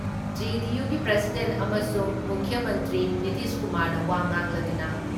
ꯖꯦ.ꯗꯤ.ꯌꯨꯒꯤ president ꯑꯃꯁꯨꯡ ꯃꯨꯈ꯭ꯌ ꯃꯟꯇ꯭ꯔꯤ ꯅꯤꯇꯤꯁꯀꯨꯃꯥꯔꯅ ꯋꯥ ꯉꯥꯡꯂꯗꯨꯅ